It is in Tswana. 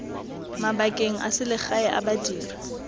mabakeng a selegae a badiri